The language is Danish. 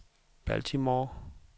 Baltimore